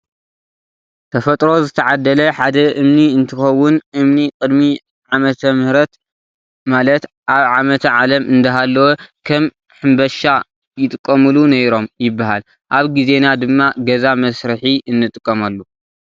ተፈጥሮ ዝተዓደለ ሓደ እምኒ እንትከውን እምኒ ቅድሚ ዓመተምህርት ማለት ኣብ ዓመተ ዓለም እንዳሃለወ ከም ሕምባሻ ይጥቀምሉ ነይሮም ይበሃል። ኣብ ግዜና ድማ ገዛ መስሪሒ እንጥቀመሉ።